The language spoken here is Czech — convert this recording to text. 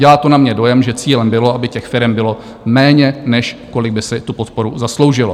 Dělá to na mě dojem, že cílem bylo, aby těch firem bylo méně, než kolik by si tu podporu zasloužilo.